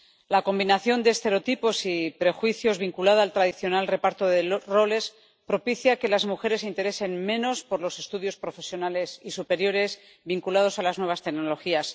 La combinación de estereotipos y prejuicios vinculada al tradicional reparto de roles propicia que las mujeres interesen menos por los estudios profesionales y superiores vinculados a las nuevas tecnologías.